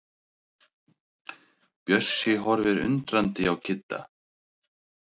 Bjössi horfir undrandi á Kidda.